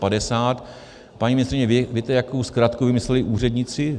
Paní ministryně, víte, jakou zkratku vymysleli úředníci?